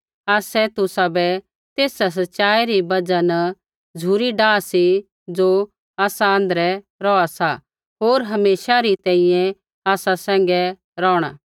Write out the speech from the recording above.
आसै तुसाबै तेसा सच़ाई री बजहा न झ़ुरी डाह सी ज़ो आसा आँध्रै रोहा सा होर हमेशा री तैंईंयैं आसा सैंघै रौहणा